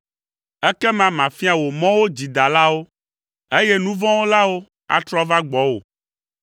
Ekema mafia wò mɔwo dzidalawo, eye nu vɔ̃ wɔlawo atrɔ ava gbɔwò.